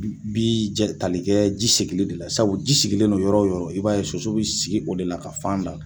Bi tali kɛ ji segili de la sabu ji sigilen non yɔrɔ o yɔrɔ, i b'a ye soso bi sigi o de la ka fan da.